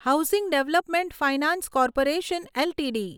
housing development finance corporation LTD